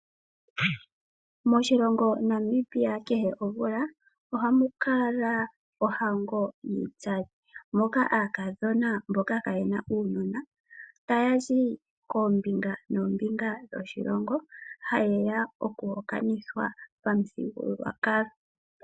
Moshilongo Namibia kehe omvula ohamu kala ohango yiitsali, moka aakadhona mboka kayena uunona tayazi koombinga noombinga dhoshilongo hayeya oku hokanithwa pamu thigululwakalo.